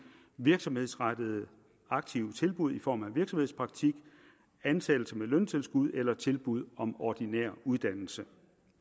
virksomhedsrettede aktive tilbud i form af virksomhedspraktik ansættelse med løntilskud eller tilbud om ordinær uddannelse